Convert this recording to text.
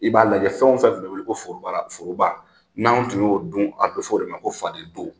I b'a lajɛ fɛn fɛn tun bɛ wele ko forobaara foroba n'an ye tun y'o dun, a bɛ fɔ o de ma ko faden to.